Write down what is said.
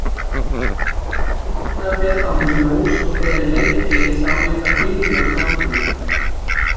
Skyndilega féll á mig ljós og þegar ég leit við sá ég hvar bílljós nálguðust.